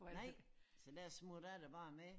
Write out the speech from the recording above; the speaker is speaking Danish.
Nej så der smutter jeg da bare med